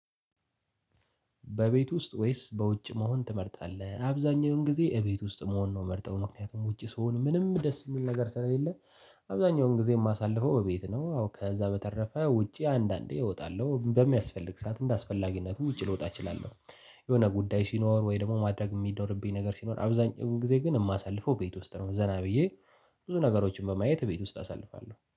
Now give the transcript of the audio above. በቤት ውስጥ ወይስ በውጭ መሆን ትመርጣለህ? አብዛኛውን ጊዜ እቤት ውስጥ መሆን ነው ምመርጠው ምክንያቱም ውጪ ስሆን ምንም ደስ የሚል ነገር ስለሌለ። አብዛኛውን ጊዜ ማሳልፈው እቤት ነው ከዛ በተረፈ ውጪ አንዳንዴ እወጣለው በሚያስፈልግ ሰዓት እንዳስፈላጊነቱ ውጭ ልወጣ እችላለሁ። የሆነ ጉዳይ ሲኖር ወይ ደግሞ ማድረግ የሚኖርብኝ ነገር ሲኖር አብዛኛውን ጊዜ ግን የማሳልፈው ቤት ውስጥ ነው። ዘና ብዬ ብዙ ነገሮችን በማየት ቤት ውስጥ አሳልፋለሁ